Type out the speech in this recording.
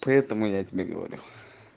поэтому я тебе говорю